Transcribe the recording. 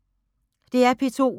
DR P2